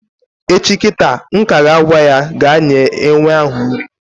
Echi kịta m ka ya agwa ya gaa nye enwe ahụ nri